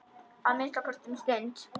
Að minnsta kosti um stund.